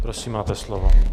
Prosím, máte slovo.